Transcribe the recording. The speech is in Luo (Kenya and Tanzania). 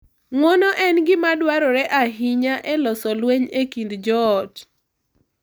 Ng’uono en gima dwarore ahinya e loso lweny e kind joot.